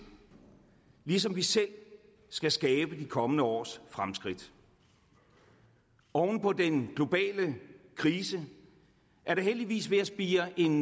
ligesom vi selv skal skabe de kommende års fremskridt oven på den globale krise er der heldigvis ved at spire en